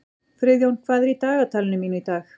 Friðjón, hvað er í dagatalinu mínu í dag?